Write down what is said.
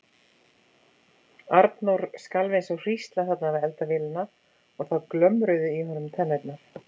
Arnór skalf eins og hrísla þarna við eldavélina og það glömruðu í honum tennurnar.